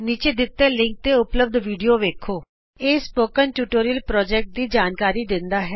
ਨੀਚੇ ਦਿੱਤੇ ਲਿੰਕ ਤੇ ਉਪਲਭਦ ਵੀਡੀਓ ਵੇਖੋ httpspoken tutorialorgWhat is a Spoken Tutorial ਇਹ ਸਪੋਕਨ ਟਿਯੂਟੋਰਿਅਲ ਪੋ੍ਰਜੈਕਟ ਦੀ ਜਾਣਕਾਰੀ ਦਿੰਦਾ ਹੈ